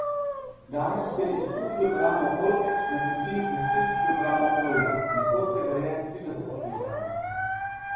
Danes se iz sto kilogramov oljk nacedi deset kilogramov olja, nekoč se ga je trideset kilogramov.